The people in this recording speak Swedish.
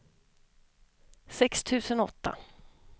sex tusen åtta